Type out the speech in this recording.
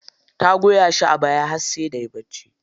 Ta goya shi a baya har sai da yayi bacci.